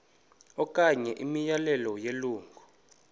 okanye imiyalelo yelungu